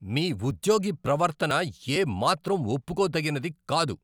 మీ ఉద్యోగి ప్రవర్తన ఏమాత్రం ఒప్పుకోతగినది కాదు.